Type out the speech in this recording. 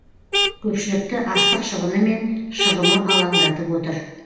көпшілікті астық шығыны мен шығымы алаңдатып отыр